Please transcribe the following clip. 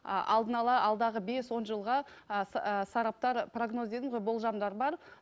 а алдын ала алдағы бес он жылға ы сараптар прогноз дедім ғой болжамдар бар